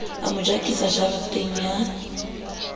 a mo jakisa jareteng ya